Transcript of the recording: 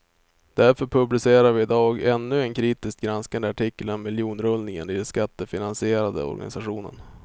Därför publicerar vi i dag ännu en kritiskt granskande artikel om miljonrullningen i den skattefinansierade organisationen.